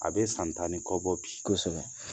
A be san tan ni kɔ bɔ bi . kosɛbɛ